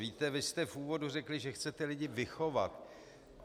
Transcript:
Víte, vy jste v úvodu řekli, že chcete lidi vychovat.